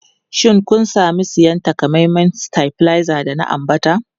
Shin kun sami siyan takamaiman stabilizer da na ambata?